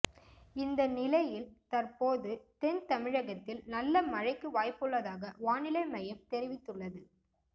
இந்த நிலையில் தற்போது தென் தமிழகத்தி்ல் நல்ல மழைக்கு வாய்ப்புள்ளதாக வானிலை மையம் தெரிவித்துள்ளது